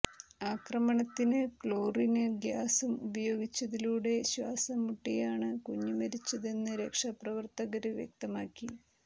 ആക്രമണത്തിന് ക്ലോറിന് ഗ്യാസും ഉപയോഗിച്ചതിലൂടെ ശ്വാസം മുട്ടിയാണ് കുഞ്ഞ് മരിച്ചതെന്ന് രക്ഷാപ്രവര്ത്തകര് വ്യക്തമാക്കി